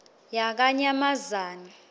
yakanyamazane